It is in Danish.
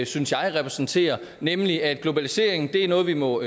synes jeg repræsenterer nemlig at globaliseringen er noget vi må